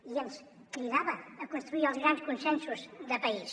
i ens cridava a construir els grans consensos de país